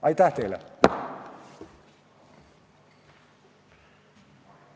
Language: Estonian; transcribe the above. Aitäh teile!